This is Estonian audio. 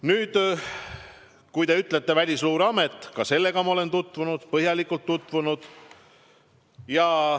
Te märkisite veel Välisluureametit, ka selle arvamusega olen ma põhjalikult tutvunud.